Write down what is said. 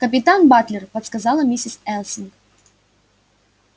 капитан батлер подсказала миссис элсинг